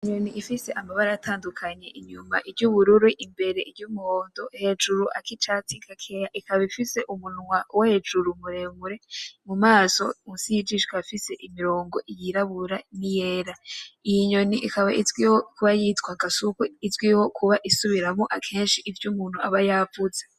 Inyoni ifise amabara atandukanye inyuma iryubururu imbere iryumuhondo hejuru akicatsi gakeya ikagira umunwa wo hejuru muremure mu maso munsi yijisho hari imirongo yirabura niyera iyi nyoni ikaba izwiho kuba yitwa gasuku izwiho isubiramwo akeshi ivyo umuntu aba yavuze.